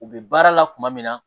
U bɛ baara la kuma min na